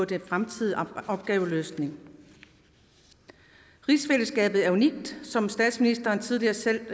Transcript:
den fremtidige opgaveløsning rigsfællesskabet er unikt som statsministeren tidligere selv